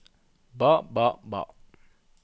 ba ba ba